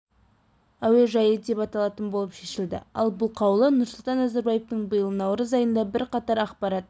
әуежайы деп аталатын болып шешілді ал бұл қаулы нұрсұлтан назарбаевтың биыл наурыз айында бірқатар ақпарат